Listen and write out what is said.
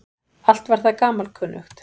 Allt var það gamalkunnugt.